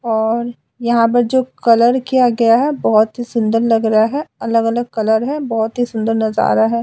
और यहाँ पर जो कलर किया गया है बोहोत ही सुंदर लग रहा है। अलग अलग कलर हैं। बोहोत ही सुंदर नजारा है।